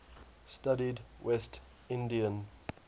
studied west indian